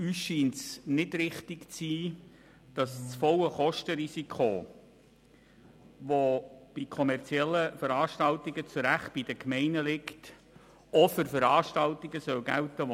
Mir scheint es nicht richtig zu sein, dass das volle Kostenrisiko auch bei nicht-kommerziellen Veranstaltungen bei den Gemeinden liegen soll.